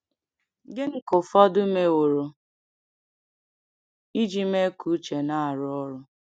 Gịnị ka ụfọdụ meworo iji mee ka uche na-arụ ọrụ?